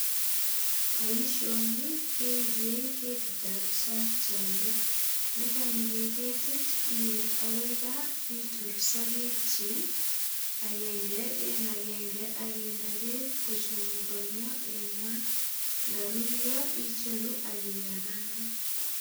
Boishoni keiriei ketitab isakiande nekaiiri ketit iip akoi kaa itor sokekchin agenge en agenge akinde beek kochemukoniyo en maat ndarurio icheru akikarangan